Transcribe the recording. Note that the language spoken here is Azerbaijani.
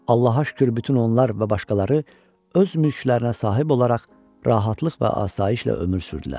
Allaha şükür, bütün onlar və başqaları öz mülklərinə sahib olaraq rahatlıq və asayişlə ömür sürdülər.